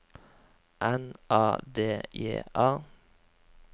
N A D J A